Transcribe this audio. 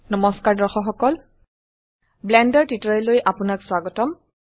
নমস্কাৰ দৰ্শক সকল ব্লেন্ডাৰ টিউটোৰিয়েললৈ আপোনাক স্বাগতম